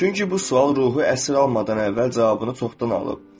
Çünki bu sual ruhu əsir almadan əvvəl cavabını çoxdan alıb.